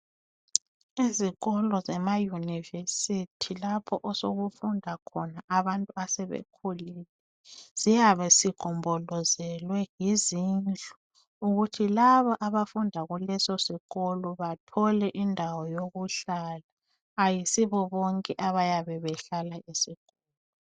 Izikolo zemayunivesithi lapho osokufunda khona abantu asebekhulile siyabe sigonjolozelwe yizindlu ukuthi labo abafunda kuleso sikolo bathole indawo yokuhlala ayisibobonke abayabe behlala esikolo.